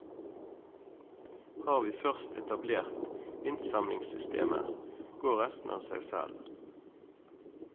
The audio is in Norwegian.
Har vi først etablert innsamlingssystemet, går resten av seg selv.